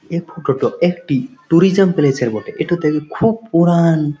এই ফটো টা একটি ট্যুরিজিয়া প্লেস এর বটে এটাতে খুব পরান--